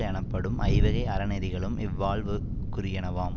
எனப்படும் ஐவகை அறநெறிகளும் இல்வாழ்வுக்குரியனவாம்